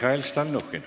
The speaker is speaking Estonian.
Mihhail Stalnuhhin.